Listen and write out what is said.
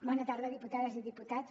bona tarda diputades i diputats